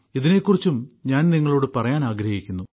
ഇതിനെ കുറിച്ചും ഞാൻ നിങ്ങളോട് പറയാൻ ആഗ്രഹിക്കുന്നു